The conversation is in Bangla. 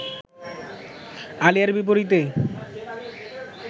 আলিয়ার বিপরীতে